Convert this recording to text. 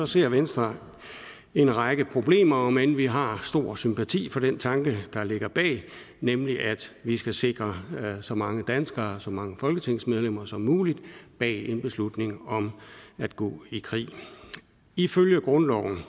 ser venstre en række problemer om end vi har stor sympati for den tanke der ligger bag nemlig at vi skal sikre så mange danskere så mange folketingsmedlemmer som muligt bag en beslutning om at gå i krig ifølge grundloven